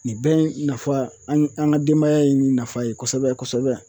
Nin bɛɛ nafa an an ka denbaya ye n in nafa ye kosɛbɛ kosɛbɛ